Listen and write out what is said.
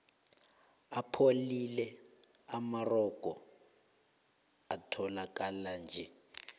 apholile amarogo etholakalanje